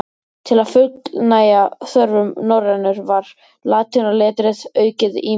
Til að fullnægja þörfum norrænunnar var latínuletrið aukið ýmislega.